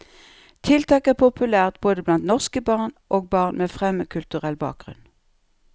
Tiltaket er populært både blant norske barn og barn med fremmedkulturell bakgrunn.